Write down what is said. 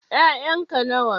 Ƴayan ka nawa?